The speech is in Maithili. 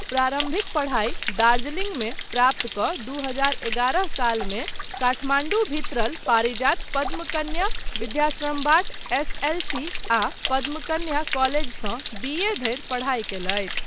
परम्भिक पढाई दार्जिलिंगमे प्राप्त कऽ दू हजार एगारह सालमे काठमाण्डू भित्रल पारिजात पद्मकन्या विद्याश्रमबाट एस.एल.सी. आ पद्मकन्या कॉलेजसँ बी.ए. धरि पढाई कयलथि।